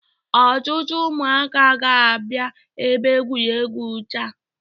Ọtụtụ ụmụaka ga-abịa ebe egwuregwu taa.